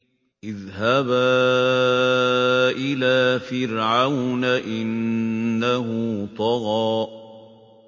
اذْهَبَا إِلَىٰ فِرْعَوْنَ إِنَّهُ طَغَىٰ